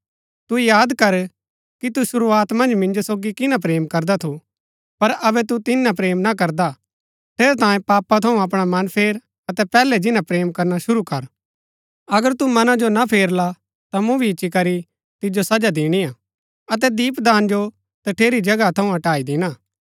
तू याद कर कि तू शुरूआत मन्ज मिन्जो सोगी किन्‍ना प्रेम करदा थू पर अबै तू तिन्या प्रेम ना करदा हा ठेरैतांये पापा थऊँ अपणा मन फेर अतै पैहलै जिन्‍ना प्रेम करना शुरू कर अगर तू मना जो ना फेरला ता मूँ फिरी इच्ची करी तिजो सजा दिणी हा अतै दीपदान जो तठेरी जगह थऊँ हटाई दिणा